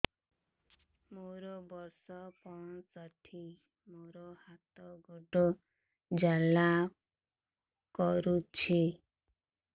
ମୋର ବର୍ଷ ପଞ୍ଚଷଠି ମୋର ହାତ ଗୋଡ଼ ଜାଲା କରୁଛି